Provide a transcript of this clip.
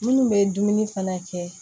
Minnu bɛ dumuni fana kɛ